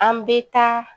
An bɛ taa